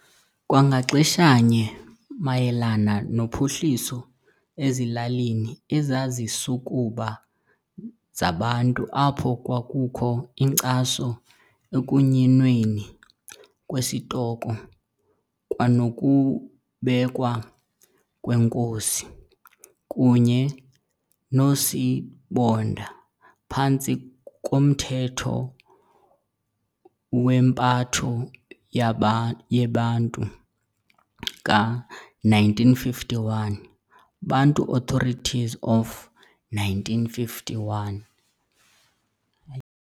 Kwangaxeshanye mayelana nophuhliso ezilalini ezazisukuba zaBantu apho kwakukho inkcaso ekunyinweni kwesitoko kwanokubekwa kweenkosi kunye noosibonda phantsi komthetho wempatho yeBantu ka-1951, Bantu Authorities of 1951.